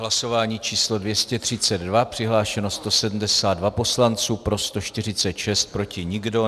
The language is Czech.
Hlasování číslo 232, přihlášeno 172 poslanců, pro 146, proti nikdo.